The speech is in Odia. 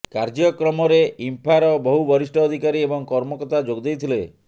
କାର୍ଯ୍ୟକ୍ରମରେ ଇମ୍ଫାର ବହୁ ବରିଷ୍ଠ ଅଧିକାରୀ ଏବଂ କର୍ମକର୍ତ୍ତା ଯୋଗ ଦେଇଥିଲେ